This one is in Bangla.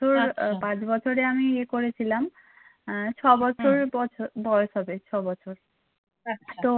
তো আমি পাঁচ বছরে আমি ইয়ে করেছিলাম উম ছ বছর বয়স হবে ছয় বছর